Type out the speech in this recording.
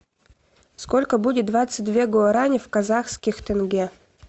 сколько будет двадцать две гуарани в казахских тенге